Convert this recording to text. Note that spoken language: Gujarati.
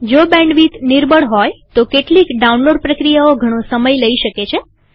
જો બેન્ડવિથ નિર્બળ હોય તો કેટલીક ડાઉનલોડ પ્રક્રિયાઓ ઘણો સમય લઇ લે છે